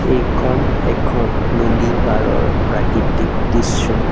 এইখন এখন নদীপাৰৰ প্ৰাকৃতিক দৃশ্য।